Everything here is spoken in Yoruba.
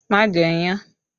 Má jẹ iyán!